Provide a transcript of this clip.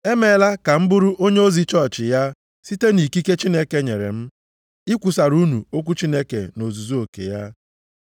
Emeela ka m bụrụ onyeozi chọọchị ya site nʼikike Chineke nyere m, ikwusara unu okwu Chineke nʼozuzu oke ya.